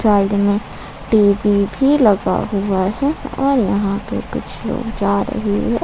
Side में TV भी लगा हुआ है और यहां पे कुछ लोग जा रहे है।